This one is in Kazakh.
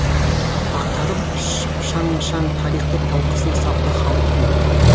ақтарып шаң шаң тарихтыталқысына сапты халықтың